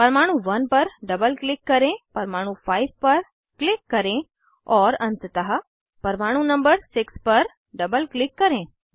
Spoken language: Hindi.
परमाणु 1 पर डबल क्लिक करें परमाणु 5 पर क्लिक करें और अंततः परमाणु नंबर 6 पर डबल क्लिक करें